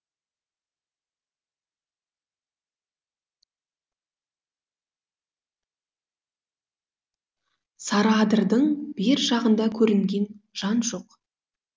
сарыадырдың бер жағында көрінген жан жоқ